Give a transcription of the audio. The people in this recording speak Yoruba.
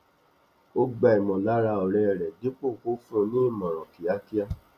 ó gbà ìmọlára ọrẹ rẹ dípò kó fún ní ìmòràn kíákíá